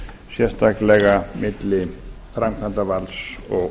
sérstaklega á milli framkvæmdarvalds og